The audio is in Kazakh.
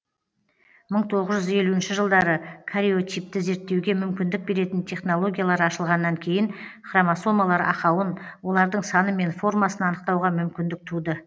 мың тоғыз жүз елуінші жылдары кариотипті зерттеуге мүмкіндік беретін технологиялар ашылғаннан кейін хромосомалар ақауын олардың саны мен формасын анықтауға мүмкіндік туды